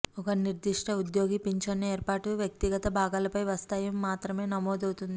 ఒక నిర్దిష్ట ఉద్యోగి పింఛను ఏర్పాటు వ్యక్తిగత భాగాలపై వస్తాయి మాత్రమే నమోదవుతోంది